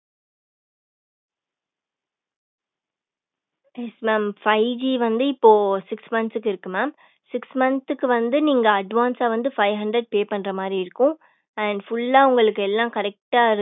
yes mam five G வந்து இப்போ six month க்குஇருக்கு mam six month க்கு நீங்க advance வந்து fivehundred வந்து pay பண்ற மாதிரி இருக்கும் and full உங்களுக்கு எல்லாம் correct